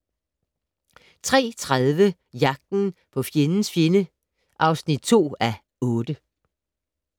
03:30: Jagten på fjendens fjende (2:8)